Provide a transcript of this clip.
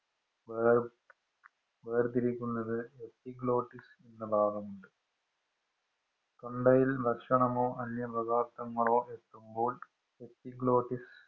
വേര്‍ വേര്‍തിരിക്കുന്നത് Epiglottis എന്ന ഭാഗമുണ്ട് തൊണ്ടയില്‍ ഭക്ഷണമോ, അന്യ എത്തുമ്പോള്‍ Epiglottis